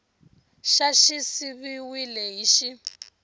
xa xi siviwile hi x